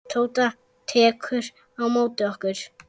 Tóta tekur á móti okkur.